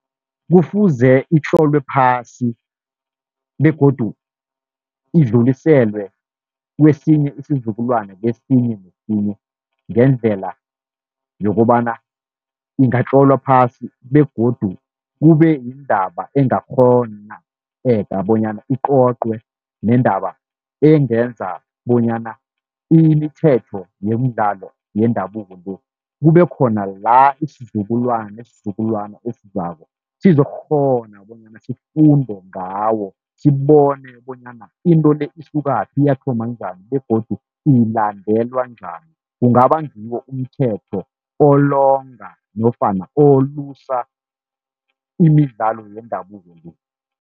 Kufuze itlolwe phasi begodu idluliselwe kwesinye isizukulwana kesinye nesinye, ngendlela yokobana ingatlolwa phasi. Begodu kube yindaba engakghoneka bonyana icocwe nendaba engenza bonyana imithetho yemidlalo yendabuko le, kube khona la isizukulwana ngesizukulwana esizako sizokukghona bonyana sifunde ngawo. Sibone bonyana into le isukaphi yathoma njani begodu ilandelwa njani. Kungaba ngiwo umthetho olonga nofana olusa imidlalo yendabuko.